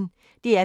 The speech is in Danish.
DR P1